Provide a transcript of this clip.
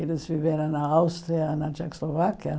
Eles viveram na Áustria, na Tchecoslováquia.